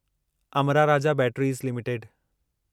Amra Raja batteries limited